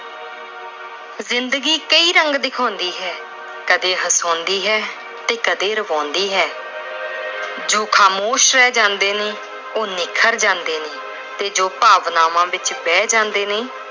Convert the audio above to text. ਜ਼ਿੰਦਗੀ ਕਈ ਰੰਗ ਦਿਖਾਉਂਦੀ ਹੈ। ਕਦੇ ਹਸਾਉਂਦੀ ਹੈ ਤੇ ਕਦੇ ਰਵਾਉਂਦੀ ਹੈ। ਜੋ ਖਾਮੋਸ਼ ਰਹਿ ਜਾਂਦੇ ਨੇ, ਉਹ ਨਿਖਰ ਜਾਂਦੇ ਨੇ ਤੇ ਜੋ ਭਾਵਨਾਵਾਂ ਵਿੱਚ ਵਹਿ ਜਾਂਦੇ ਨੇ